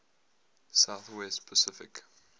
south west pacific